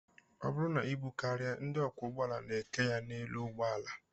Ọ bụrụ na ibu karịa, ndị ọkwọụgbọala na-eke ya n'elu ụgbọala